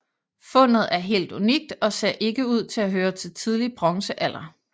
Fundet er helt unikt og ser ikke ud til at høre til tidlig bronzealder